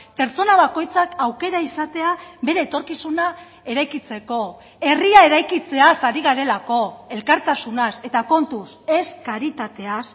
pertsona bakoitzak aukera izatea bere etorkizuna eraikitzeko herria eraikitzeaz ari garelako elkartasunaz eta kontuz ez karitateaz